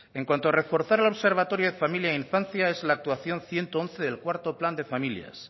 en cuanto a reforzar el observatorio de familia e infancia es la actuación ciento once del cuarto plan de familia